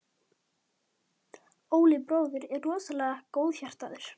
Bóas hljóðnaði og leit undan.